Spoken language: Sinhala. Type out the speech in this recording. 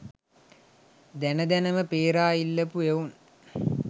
දැන දැන ම පේරා ඉල්ලපු එවුන්.